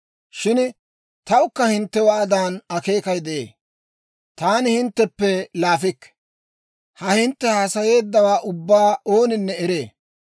Shin tawukka hinttewaadan akeekay de'ee; taani hintteppe laafikke! Ha hintte haasayeeddawaa ubbaa ooninne eree.